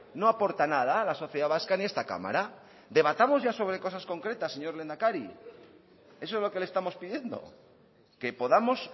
no aporta nada a la sociedad vasca en esta cámara debatamos ya sobre cosas concretas señor lehendakari eso es lo que le estamos pidiendo que podamos